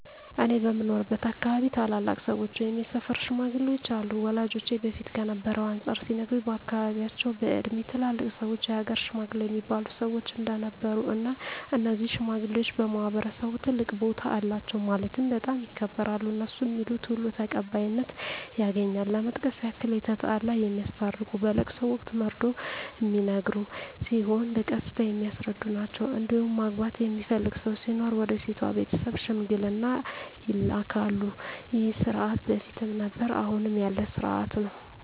እኔ በምኖርበት አካባቢ ታላላቅ ሰዎች ወይም የሰፈር ሽማግሌዎች አሉ ወላጆቼ በፊት ከነበረው አንፃር ሲነግሩኝ በአካባቢያቸው በእድሜ ትላልቅ ሰዎች የሀገር ሽማግሌ እሚባሉ ሰዎች እንደነበሩ እና እነዚህ ሽማግሌዎች በማህበረሰቡ ትልቅ ቦታ አላቸው ማለትም በጣም ይከበራሉ እነሡ ሚሉት ሁሉ ተቀባይነት ያገኛል ለመጥቀስ ያክል የተጣላ የሚያስታርቁ በለቅሶ ወቅት መርዶ ሚነገር ሲሆን በቀስታ የሚያስረዱ ናቸዉ እንዲሁም ማግባት የሚፈልግ ሰው ሲኖር ወደ ሴቷ ቤተሰብ ሽምግልና ይላካሉ ይህ ስርዓት በፊትም ነበረ አሁንም ያለ ስርአት ነው።